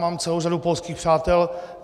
Mám celou řadu polských přátel.